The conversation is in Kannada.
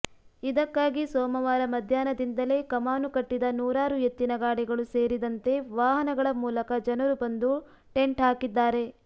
ಇದಕ್ಕಾಗಿ ಸೋಮವಾರ ಮಧ್ಯಾಹ್ನದಿಂದಲೇ ಕಮಾನು ಕಟ್ಟಿದ ನೂರಾರು ಎತ್ತಿನಗಾಡಿಗಳು ಸೇರಿದಂತೆ ವಾಹನಗಳ ಮೂಲಕ ಜನರು ಬಂದು ಟೆಂಟ್ ಹಾಕಿದ್ದಾರೆ